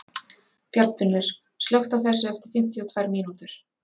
Bjarnfinnur, slökktu á þessu eftir fimmtíu og tvær mínútur.